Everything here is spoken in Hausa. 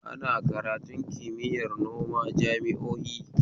Ana karatun kimiyar noma jami'o'i